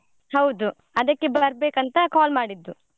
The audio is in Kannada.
ಹೌದು ಅದಕ್ಕೆ ಬರ್ಬೇಕು ಅಂತ call ಮಾಡಿದ್ದು.